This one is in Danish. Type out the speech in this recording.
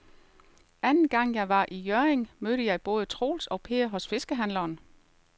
Anden gang jeg var i Hjørring, mødte jeg både Troels og Per hos fiskehandlerne.